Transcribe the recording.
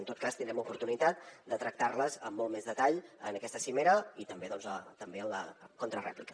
en tot cas tindrem oportunitat de tractar les amb molt més detall en aquesta cimera i també en la contrarèplica